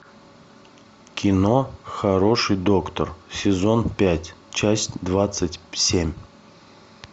кино хороший доктор сезон пять часть двадцать семь